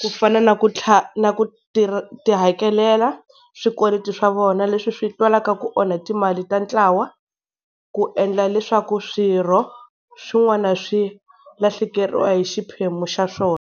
ku fana na ku na ku tihakelela swikweleti swa vona leswi swi twalaka ku onha timali ta ntlawa. Ku endla leswaku swirho swin'wana swi lahlekeriwa hi xiphemu xa swona.